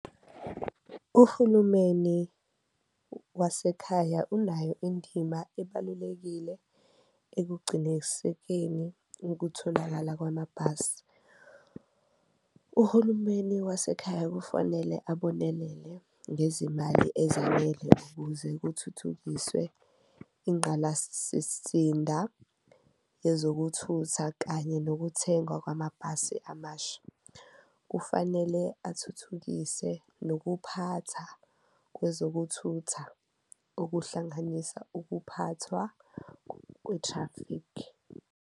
Uhulumeni wasekhaya unayo indima ebalulekile ekugcinenisekeni ukutholakala kwamabhasi. Uhulumeni wasekhaya kufanele ababonelele ngezimali ezanele ukuze kuthuthukiswe inqalasisinda, ezokuthutha kanye nokuthengwa kwamabhasi amasha. Kufanele athuthukise nokuphatha kwezokuthutha ukuhlanganisa ukuphathwa kwe-traffic.